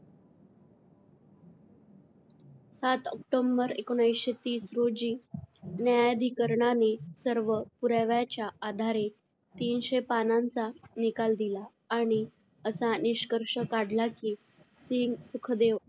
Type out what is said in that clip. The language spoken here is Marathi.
सात ऑक्टोबर एकोणीसशे तीस रोजी, न्यायाधिकरणाने सर्व पुराव्याच्या आधारे तीनशे पानांचा निकाल दिला आणि असा निष्कर्ष काढला की सिंग, सुखदेव,